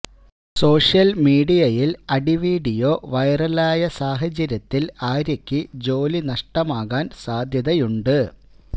social മീഡിയയിൽ അടി video വൈറലായ സാഹചര്യത്തിൽ ആര്യയ്ക്ക് ജോലി നഷ്ടമാകാൻ സാധ്യതയുണ്ട്